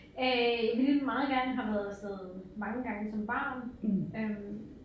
Øh ville meget gerne have været afsted mange gange som barn øh